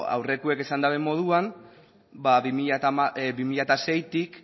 aurrekoek esan duten moduan bi mila seitik